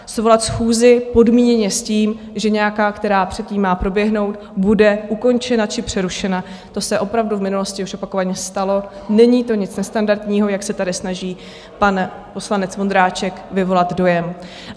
Svolat schůzi podmíněně s tím, že nějaká, která předtím má proběhnout, bude ukončena či přerušena, to se opravdu v minulosti už opakovaně stalo, není to nic nestandardního, jak se tady snaží pan poslanec Vondráček vyvolat dojem.